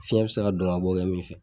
Fiɲɛ bɛ se ka donkabɔ kɛ min fɛ